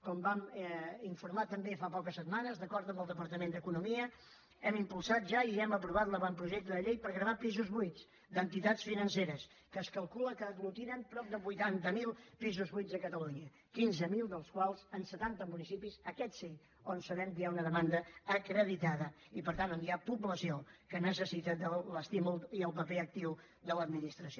com vam informar també fa poques setmanes d’acord amb el departament d’economia hem impulsat ja i hem aprovat l’avantprojecte de llei per gravar pisos buits d’entitats financeres que es calcula que aglutinen prop de vuitanta mil pisos buits a catalunya quinze mil dels quals en setanta municipis aquests sí on sabem que hi ha una demanda acreditada i per tant on hi ha població que necessita l’estímul i el paper actiu de l’administració